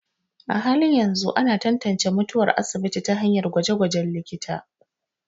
A halin yanzu, ana tantance mutuwar asibiti ta hanyar gwaje-gwajen likita.